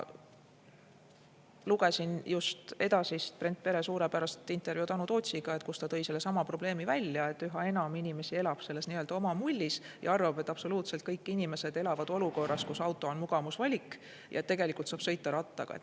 Lugesin just Edasist Brent Pere suurepärast intervjuud Anu Tootsiga, kus ta tõi sellesama probleemi välja, et üha enam inimesi elab nii-öelda oma mullis ja arvab, et absoluutselt kõik inimesed elavad olukorras, kus auto on mugavusvalik, ja tegelikult saab sõita rattaga.